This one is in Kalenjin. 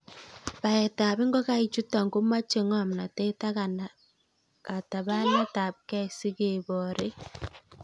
Baetab ingokaichuton komoche ng'omnotet ak katabanetabkei sikeboren.